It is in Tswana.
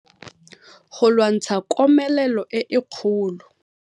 Go lwantsha komelelo e e kgolo.